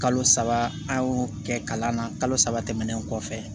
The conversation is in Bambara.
Kalo saba an y'o kɛ kalan na kalo saba tɛmɛnen kɔfɛ